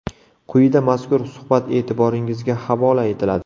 Quyida mazkur suhbat e’tiboringizga havola etiladi.